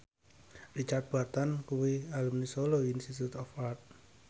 Richard Burton kuwi alumni Solo Institute of Art